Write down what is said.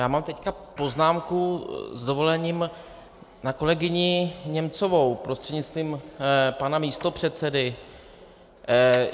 Já mám teď poznámku s dovolením na kolegyni Němcovou prostřednictvím pana místopředsedy.